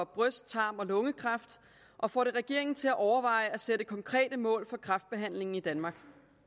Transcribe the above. bryst tarm og lungekræft og får det regeringen til at overveje at sætte konkrete mål for kræftbehandlingen i danmark